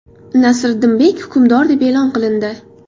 Nasriddinbek hukmdor deb e’lon qilindi.